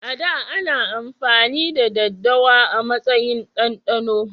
A da, ana amfani da daddawa a matsayin dandano